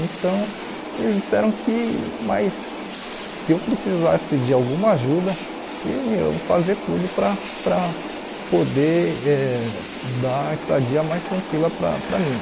Então, eles disseram que mas que se eu precisasse de alguma ajuda, iam fazer tudo para para poder eh dar a estadia mais tranquila para para mim.